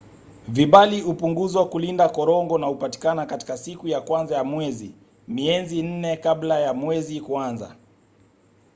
vibali hupunguzwa kulinda korongo na hupatikana katika siku ya kwanza ya mwezi mienzi nne kabla ya mwezi kuanza